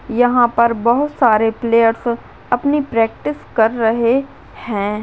यहाँ पर बहुत सारे प्लेयर्स अपनी प्रैक्टिस कर रहे है।